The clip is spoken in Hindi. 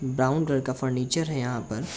ब्राउन कलर का फर्नीचर है यहाँ पर।